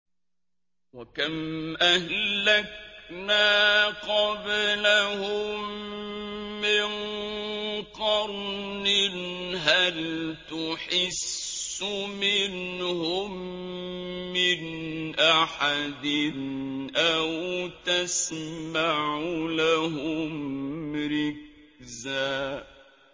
وَكَمْ أَهْلَكْنَا قَبْلَهُم مِّن قَرْنٍ هَلْ تُحِسُّ مِنْهُم مِّنْ أَحَدٍ أَوْ تَسْمَعُ لَهُمْ رِكْزًا